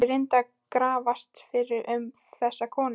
Ég reyndi að grafast fyrir um þessa konu.